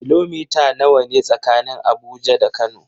Kilomita nawa ne tsakanin Abuja da Kano?